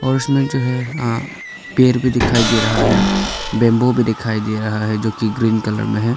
और इसमें जो है अह पेड़ भी दिखाई दे रहा है बैंबू भी दिखाई दे रहा है जो कि ग्रीन कलर में है।